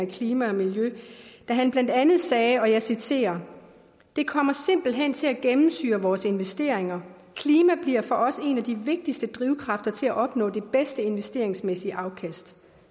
klima og miljø da han blandt andet sagde og jeg citerer det kommer simpelthen til at gennemsyre vores investeringer klima bliver for os en af de vigtigste drivkræfter til at opnå det bedste investeringsmæssige afkast